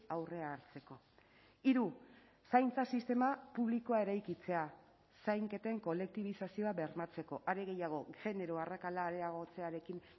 aurrea hartzeko hiru zaintza sistema publikoa eraikitzea zainketen kolektibizazioa bermatzeko are gehiago genero arrakala areagotzearekin